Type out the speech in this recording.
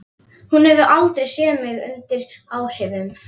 Hún hefur aldrei séð mig undir áhrifum.